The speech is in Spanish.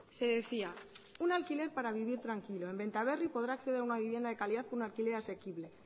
se decía un alquiler para vivir tranquilo en benta berri podrá acceder a una vivienda de calidad con un alquiler accesible